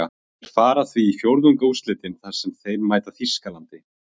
Þeir fara því í fjórðungsúrslitin þar sem þeir mæta Þýskalandi.